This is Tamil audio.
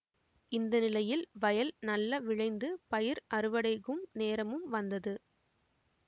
இந்தநிலையில் வயல் நல்ல விளைந்து பயிர் அறுவடை கும் நேரமும் வந்தது